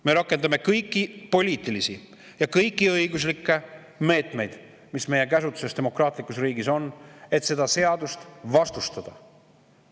Me rakendame kõiki poliitilisi ja kõiki õiguslikke meetmeid, mis meie käsutuses demokraatlikus riigis on, et seda seadust vastustada.